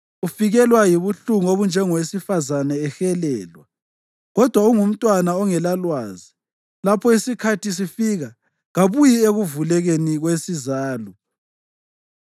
Ufikelwa yibuhlungu obunjengowesifazane ehelelwa, kodwa ungumntwana ongelalwazi; lapho isikhathi sifika, kabuyi ekuvulekeni kwesizalo.